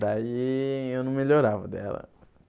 Daí eu não melhorava daí ela.